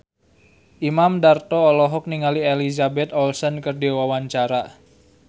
Imam Darto olohok ningali Elizabeth Olsen keur diwawancara